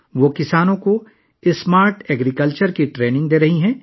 وہ کسانوں کو اسمارٹ زراعت کی تربیت فراہم کر رہی ہے